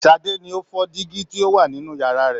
Sade ni o fọ dingi tí o wà nínú yàrá rẹ̀.